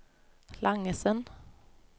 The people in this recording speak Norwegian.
Langesund